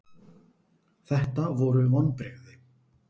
Þetta voru vonbrigði.